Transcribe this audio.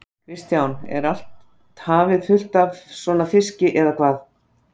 Kristján: Er allt hafið fullt af svona fiski eða hvað?